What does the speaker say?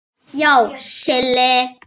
Já, Silli.